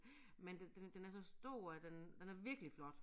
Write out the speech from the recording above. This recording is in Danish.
Men den den den er så stor og den den er virkelig flot